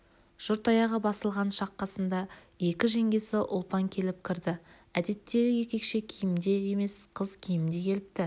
жұрт аяғы басылған шақ қасында екі жеңгесі ұлпан келіп кірді әдеттегі еркекше киімде емес қыз киімінде келіпті